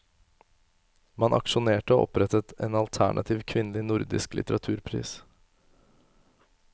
Man aksjonerte og opprettet en alternativ kvinnelig nordisk litteraturpris.